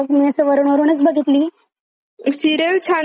Serial छान दाखवली जशी आधीच्या काळात होती ना?